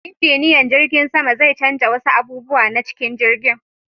Injiniyan jirgin sama zai canja wasu abubuwa na cikin jirgin.